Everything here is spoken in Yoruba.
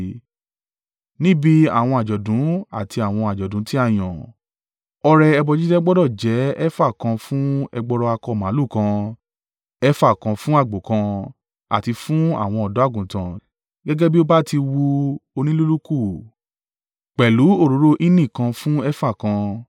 “ ‘Níbi àwọn àjọ̀dún àti àwọn àjọ̀dún tí a yàn, ọrẹ ẹbọ jíjẹ gbọdọ̀ jẹ́ efa kan fún ẹgbọrọ akọ màlúù kan, efa kan fún àgbò kan, àti fún àwọn ọ̀dọ́-àgùntàn gẹ́gẹ́ bí ó bá ti wu onílúlùkù, pẹ̀lú òróró hínì kan fún efa kan.